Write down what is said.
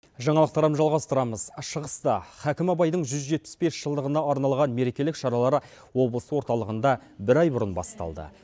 жаңалықтарым жалғастырамыз шығыста хәкім абайдың жүз жетпіс бес жылдығына арналған мерекелік шаралары облыс орталығында бір ай бұрын басталды